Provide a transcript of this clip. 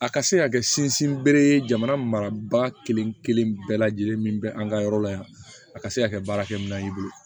A ka se ka kɛ sinsinbere ye jamana marabaa kelen-kelen bɛɛ lajɛlen min bɛ an ka yɔrɔ la yan a ka se ka kɛ baarakɛminɛn y'i bolo